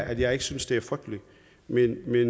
at jeg ikke synes det er frygteligt men vi